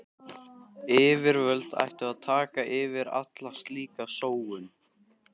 Yfirvöld ættu að taka fyrir alla slíka sóun.